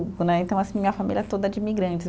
Né, então, assim, minha família é toda de imigrantes.